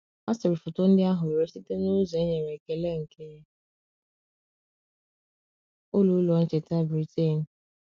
A sịrị foto ndị ahụ were site n’ụzọ e nyere ekele nke Ụlọ Ụlọ Ncheta Britain.